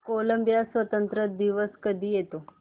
Colombia स्वातंत्र्य दिवस कधी येतो